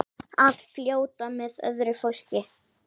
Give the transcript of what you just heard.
Að fljóta með öðru fólki.